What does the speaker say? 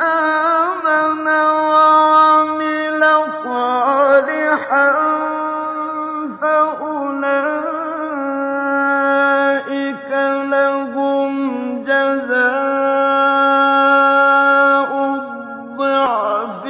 آمَنَ وَعَمِلَ صَالِحًا فَأُولَٰئِكَ لَهُمْ جَزَاءُ الضِّعْفِ